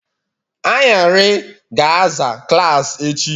Anyarị ga-aza klaasị echi